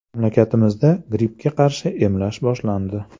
Mamlakatimizda grippga qarshi emlash boshlandi.